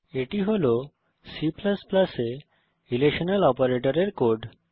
এটি হল C এ রিলেশনাল অপারেটরের কোড